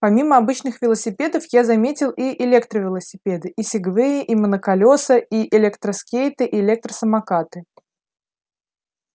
помимо обычных велосипедов я заметил и электровелосипеды и сегвеи и моноколеса и электроскейты и электросамокаты